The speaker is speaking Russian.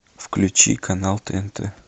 включи канал тнт